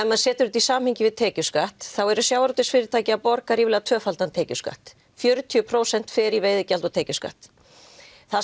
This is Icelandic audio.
maður setur þetta í samhengi við tekjuskatt eru sjávarútvegsfyrirtæki að borga tvöfaldan tekjuskatt fjörutíu prósent fer í veiðigjöld og tekjuskatt það